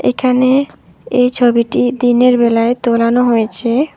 এখানে এ ছবিটি দিনের বেলায় তোলানো হয়েছে।